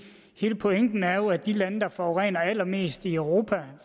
hele pointen er jo at de lande der forurener allermest i europa